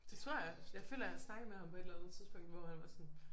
Det tror jeg. Jeg føler jeg har snakket med ham på et eller andet tidspunkt hvor han var sådan